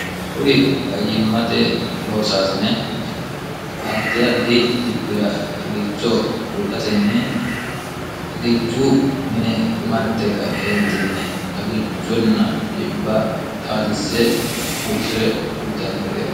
kuri fayyimmate loosaasine addi addi dhibbira xagicho buuxatenni xagichu mine marte ka' eentinni xagichunna dibba xaadisse hursire uutannoreti